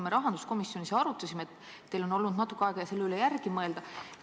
Me rahanduskomisjonis arutasime seda ja teil on olnud nüüd natuke aega selle üle järele mõelda.